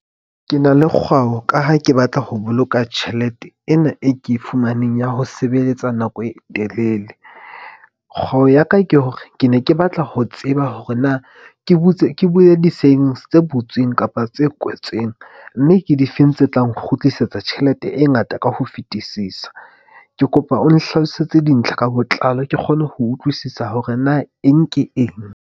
Ke na le kgwao ka ha ke batla ho boloka tjhelete ena e ke e fumaneng ya ho sebeletsa nako e telele. Kgwebo ya ka ke hore ke ne ke batla ho tseba hore na ke butse ke bue di seng tse butsweng kapa tse kwetsweng. Mme ke difeng tse tla nkgutlisetsa tjhelete e ngata ka ho fetisisa. Ke kopa o nhlalosetse dintlha ka botlalo ke kgone ho utlwisisa hore na eng ke eng.